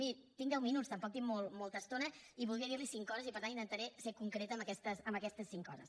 miri tinc deu minuts tampoc tinc molta estona i voldria dir li cinc coses i per tant intentaré ser concreta en aquestes cinc coses